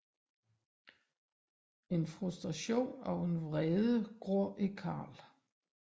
En frustration og en vrede gror i Carl